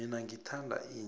mina ngithanda inja